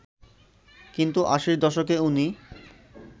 কিন্তু আশির দশকে উনি